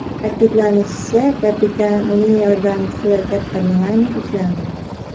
Ta’kidlanishicha, kapitan, uning yordamchisi va katta mexanik ushlandi.